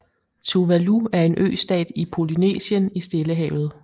Tuvalu er en østat i Polynesien i Stillehavet